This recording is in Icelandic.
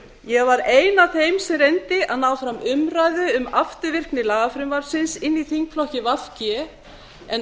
ég var ein af þeim sem reyndi að ná fram umræðu um afturvirkni lagafrumvarpsins inn í þingflokki v g en